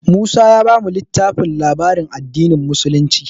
Musa ya bamu littafin labaran addinin musulunci.